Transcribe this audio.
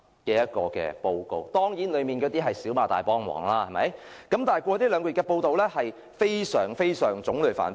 當然，報告的內容是"小罵大幫忙"，但過去兩個月報道的案件種類卻非常繁多。